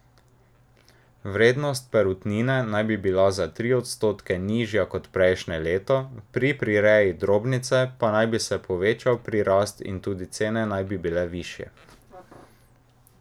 Vrednost perutnine naj bi bila za tri odstotke nižja kot prejšnje leto, pri prireji drobnice pa naj bi se povečal prirast in tudi cene naj bi bile višje.